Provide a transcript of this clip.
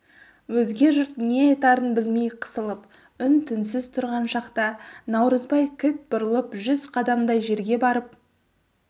өзге жұрт не айтарын білмей қысылып үн-түнсіз тұрған шақта наурызбай кілт бұрылып жүз қадамдай жерге барып